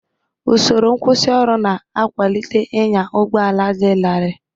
Usoro nkwusioru na-akwalite ịnya ụgbọ ala dị larịị.